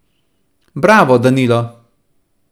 Bravo Danilo!